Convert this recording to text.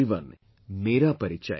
feV~Vh dk ru eLrh dk eu k